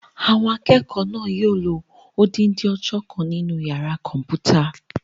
Àwọn akẹ́kọ̀ọ́ náà yóò lo odindi ọjọ́ kan nínu yàrá-kọ̀mpúta